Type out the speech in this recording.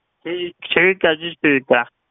ਜੀ ਠੀਕ ਹੈ ਜੀ ਠੀਕ ਹੈ।